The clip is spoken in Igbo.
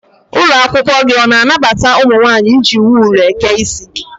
Ụlọakwụkwọ gị ọ na-anabata ụmụ nwaanyị iji wul eke isi?